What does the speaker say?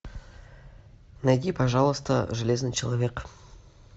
найди пожалуйста железный человек